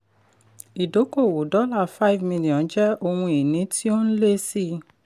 idókòwò five million dollars jẹ́ ohun ìní tí ó ń lé sí i.